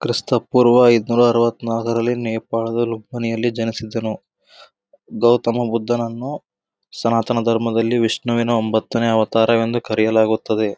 ಕ್ರಿಸ್ತ ಪೂರ್ವ ಐದುನ್ನೂರ ಅರವತ್ ನಾಲ್ಕು ರಲ್ಲಿ ನೇಪಾಳಿನ ಜನಿಸಿದನು ಗೌತಮ ಬುದ್ದನನ್ನು ಸನಾತನ ಧರ್ಮದಲ್ಲಿ ವಿಷ್ಣು ವಿನ ಒಂಬತ್ತನೇ ಅವತಾರ ವೆಂದು ಕರೆಯಲಾಗುತ್ತದೆ.